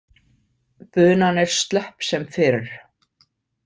Bunan er slöpp sem fyrr.